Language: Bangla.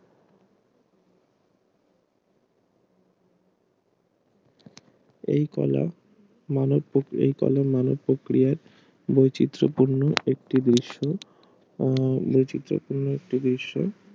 এই কলা মানব প্রক্রিয়া বৈচিত্র পূর্ণ একটি দেশে উম বৈচিত্র পূর্ণ একটি দৃশ্য